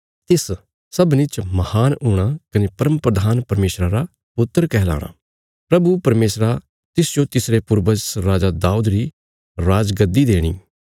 तिस सबनीं च महान हूणा कने परमप्रधान परमेशरा रा पुत्र कहलाणा प्रभु परमेशरा तिसजो तिसरे पूर्वज राजा दाऊद री राजगद्दी देणी